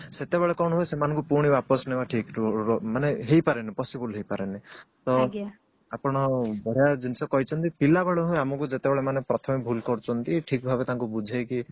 ସେତେବେଳେ କଣ ହୁଏ ସେମାନଙ୍କୁ ପୁଣି ବାପସ ନେବା ଠିକ ରୁ ମାନେ ହେଇ ପାରେନି possible ହେଇ ପାରେନି ତ ଆପଣ ବଢିଆ ଜିନିଷ କହିଛନ୍ତି ପିଲାବେଳୁ ହିଁ ଆମକୁ ଯେତେବେଳେ ମାନେ ପ୍ରଥମେ ଭୁଲ କରୁଛନ୍ତି ଠିକ ଭାବେ ତାଙ୍କୁ ବୁଝେଇକି